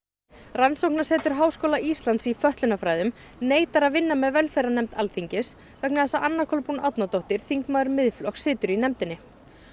rannsóknarsetur Háskóla Íslands í fötlunarfræðum neitar að vinna með velferðarnefnd Alþingis vegna þess að Anna Kolbrún Árnadóttir þingmaður Miðflokks situr í nefndinni